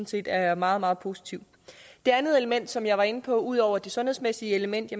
set er meget meget positivt det andet element som jeg var inde på altså ud over det sundhedsmæssige element